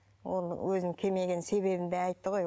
ол өзінің келмеген себебін де айтты ғой